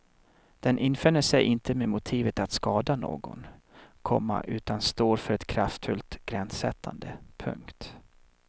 Den infinner sig inte med motivet att skada någon, komma utan står för ett kraftfullt gränssättande. punkt